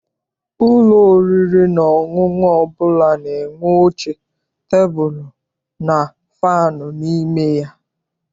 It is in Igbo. Ụlọ oriri na ọṅụṅụ ọbụla na-enwe oche, tebulu and fannụ n'ime ya.